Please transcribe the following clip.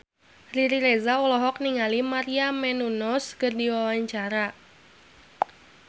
Riri Reza olohok ningali Maria Menounos keur diwawancara